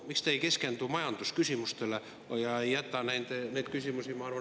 Miks te ei keskendu majandusküsimustele ja ei jäta neid küsimusi, ma arvan …